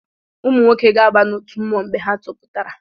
Ụmụnwoke ga-aba n’otu mmụọ mgbe ha topụtara